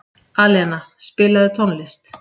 Alena, spilaðu tónlist.